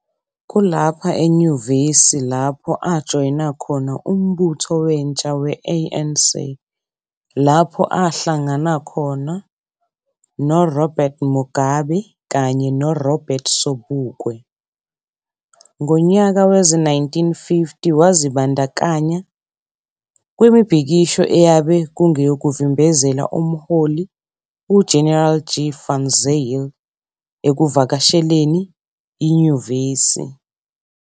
Kulapha kulenyuvesi lapho ajoyina khona Umbutho Wentsha we-ANC lapho ahlagana khona khona noRobert Mugabe kanye no Robert sobukwe. Ngonyaka wezi-1950 wazibandakanya kwimibhikisho eyabe kungeyokuvimbezela uMholi uGeneral G Van Zyl ekuvakasheleni inyuvesi.